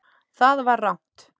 Það var rangt.